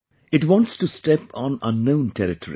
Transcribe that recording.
It wants to step on unknown territory